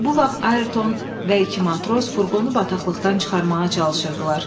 Bu vaxt Ayerton və iki matros furqonu bataqlıqdan çıxarmağa çalışırdılar.